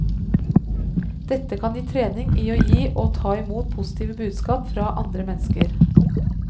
Dette kan gi trening i å gi og ta imot positive budskap fra andre mennesker.